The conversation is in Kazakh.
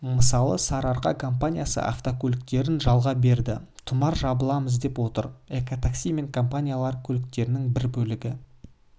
мысалы сарыарқа компаниясы автокөліктерін жалға берді тұмар жабыламыз деп отыр экотакси мен компаниялары көліктерінің бір бөлігі